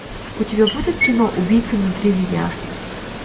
у тебя будет кино убийца внутри меня